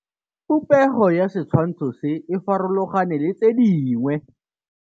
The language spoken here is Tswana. Popêgo ya setshwantshô se, e farologane le tse dingwe.